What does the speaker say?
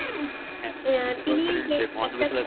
আহ তিনি যে